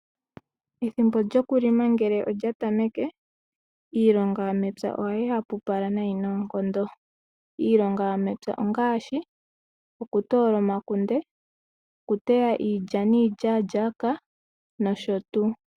Ethimbo lokulima ngele olya tameke, iilonga yomepya ohayi hapupala noonkondo. Iilonga yomepya ongaashi okutoola omakunde, okuteya iilya niilyaalyaka nosho tuu.